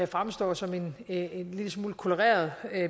fremstår som et en lille smule koloreret